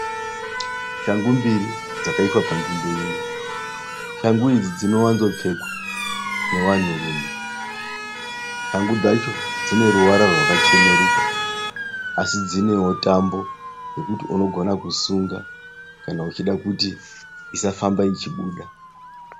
Shangu mbiri dzakaiswa panzvimbo imwe, shangu idzi dzinowanzo pfekwa nevanhurume, shangu dzacho dzine ruvara rwakacheneruka asi dzinewo tambo yekuti unogona kusunga kana uchida kuti isafamba ichibuda.